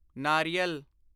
ਨਾਰੀਅਲ